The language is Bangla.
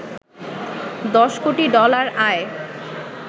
১০ কোটি ডলার আয়